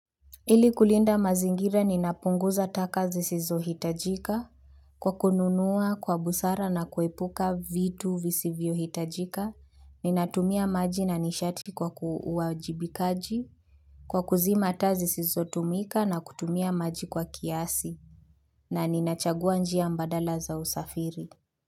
Ili kulinda mazingira ninapunguza taka zisizohitajika kwa kununua kwa busara na kuepuka vitu visivyohitajika. Ninatumia maji na nishati kwa uwajibikaji kwa kuzima taa zisizotumika na kutumia maji kwa kiasi. Na ninachagua njia mbadala za usafiri.